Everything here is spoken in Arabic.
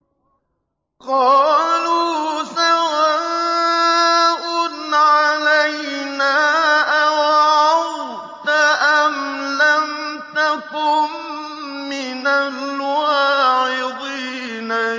قَالُوا سَوَاءٌ عَلَيْنَا أَوَعَظْتَ أَمْ لَمْ تَكُن مِّنَ الْوَاعِظِينَ